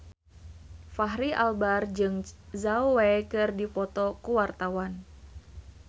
Fachri Albar jeung Zhao Wei keur dipoto ku wartawan